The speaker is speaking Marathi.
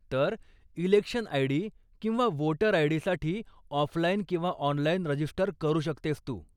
तर, इलेक्शन आय.डी. किंवा वोटर आय.डी.साठी ऑफलाईन किंवा ऑनलाईन रजिस्टर करू शकतेस तू.